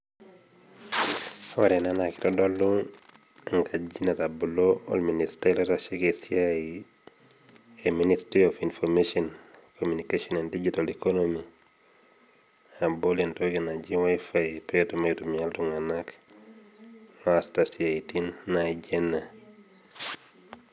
Ore ena naa keitodolu enkaji naitasheiki olministai oitasheiki esiai e ministry of information communication and digital economy abol entoki naji WiFi pee etum aitumia iltung'ana oasita isiaitin naijo ena.